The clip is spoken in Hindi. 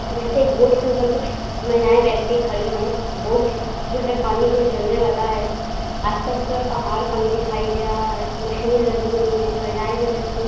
जैसे एक बोट के ऊपर कुछ महिलाएं व्यक्ति खड़ी हैं। बोट जो है पानी की ओर चलने वाला है। आस-पास पूरा पहाड़ पानी दिखाई दे रहा है। मशीनें लगी हुई हैं। महिलाएं जो है सूट --